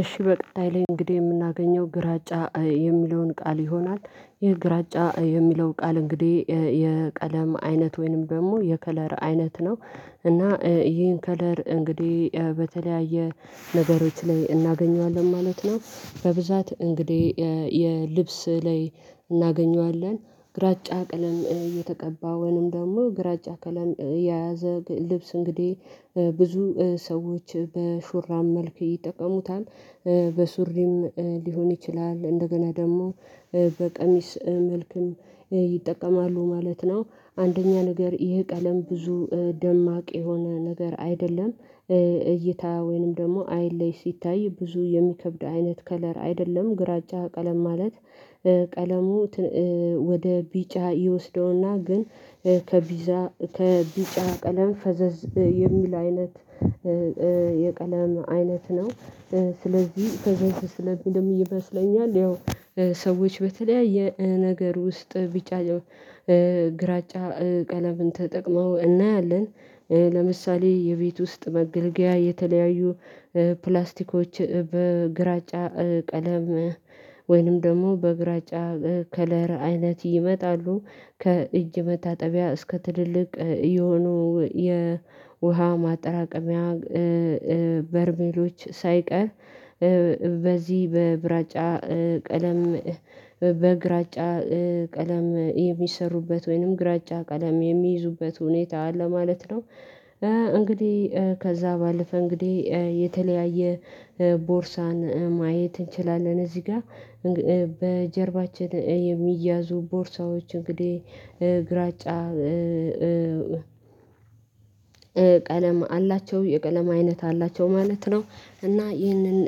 እሺ በቀጣይ ላይ እንግዲህ የምናገኘው ግራጫ የሚለውን ቃል ይሆናል፤ ይህ ግራጫ የሚለው ቃል እንግዲህ፤ የቀለም አይነት ወይንም ደግሞ የከለር አይነት ነው፤ እና ይህን ከለር እንግዲህ በተለያየ ነገሮች ላይ እናገኘዋለን፤ ማለት ነው በብዛት እንግዲህ የልብስ ላይ እናገኘዋለን፤ ግራጫ ቀለም እየተቀባውንም ደግሞ ግራጫ ቀለም የያዘ ልብስ እንግዲህ ብዙ ሰዎች በሹራም መልኩ ይጠቀሙታል፤ በሱሪም ልሆን ይችላል፤ እንደገና ደግሞ በቀሚስ መልክም ይጠቀማሉ ማለት ነው፤ አንደኛ ነገር ይሄ ቀለም ብዙ ደማቅ የሆነ ነገር አይደለም። እይታ ወይንም ደግሞ አይለይ ስታይ ብዙ የሚከብድ አይነት ከለር አይደለም፤ ግራጫ ቀለም ማለት፤ ቀለሙ ወደ ቢጫ ይወስደውና ግን ከቢጫ ቀለም ፈዘዝ የሚል አይነት የቀለም አይነት ነው፤ ስለዚህ ፈዘዝ ስለሚልም እየመሰለኝ ያው ሰዎች በተለያየ ነገር ውስጥ ቢጫ፣ ግራጫ፣ ቀለምን ተጠቅመው እናያለን፤ ለምሳሌ የቤት ውስጥ መገልገያ የተለያዩ ፕላስቲኮች በግራጫ ቀለም ወይንም ደግሞ በግራጫ ከለር አይነት ይመጣሉ፤ ከእጅ መታጠቢያ እስከ ትልልቅ የሆኑ የውሃ ማጠራቀሚያ በርሜሎች ሳይቀር በዚህ በብራጫ ቀለም፤ በግራጫ ቀለም የሚሰሩበት ወይንም ግራጫ ቀለም የሚይዙበት ሁኔታ አለ ማለት ነው፤ እንግዲህ ከዛ ባለፈ እንግዲህ የተለያየ ቦርሳን ማየት እንችላለን፤ እዚህ ጋር በጀርባችን የሚያዙ ቦርሳዎች እንግዲህ ግራጫ ቀለም አላቸው፤ የቀለም አይነት አላቸው፤ ማለት ነው፤ እና ይህንን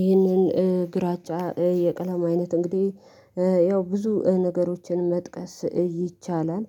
ይህንን ግራጫ የቀለም አይነት እንግዲህ ያው ብዙ ነገሮችን መጥቀስ ይቻላል